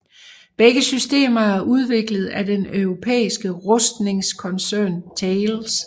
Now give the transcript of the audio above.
Begge systemer er udviklet af den europæiske rustningskoncern Thales